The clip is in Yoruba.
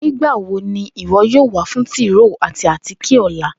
Nigbawo ni iwọ yoo wa fun tróó ati átíké ọla?